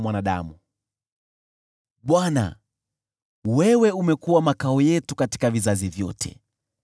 Bwana , wewe umekuwa makao yetu katika vizazi vyote.